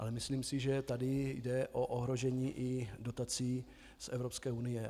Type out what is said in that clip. Ale myslím si, že tady jde o ohrožení i dotací z Evropské unie.